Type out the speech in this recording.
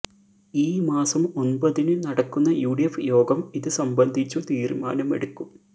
ഈ മാസം ഒന്പതിന് നടക്കുന്ന യുഡിഫ് യോഗം ഇത് സംബന്ധിച്ചു തീരുമാനമെടുക്കും